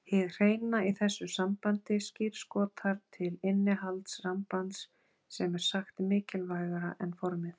Hið hreina í þessu sambandi skírskotar til innihalds sambands sem er sagt mikilvægara en formið.